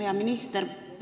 Hea minister!